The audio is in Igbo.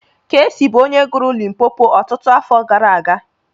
Keesi bụ onye gụrụ 'Limpopo' ọtụtụ afọ gara aga.